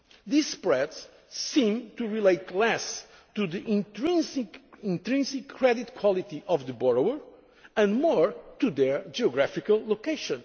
euro area. These spreads seem to relate less to the intrinsic credit quality of the borrower and more to their geographical